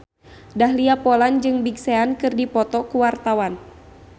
Dahlia Poland jeung Big Sean keur dipoto ku wartawan